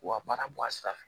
K'u ka baara bɔ a sira fɛ